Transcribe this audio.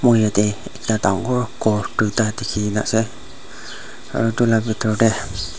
moi yatey ekta dangor ghor duita dikhikena ase aro itula bitor tey--